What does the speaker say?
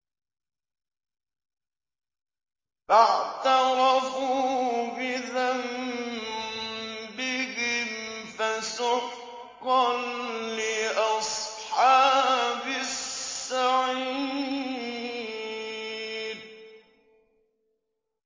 فَاعْتَرَفُوا بِذَنبِهِمْ فَسُحْقًا لِّأَصْحَابِ السَّعِيرِ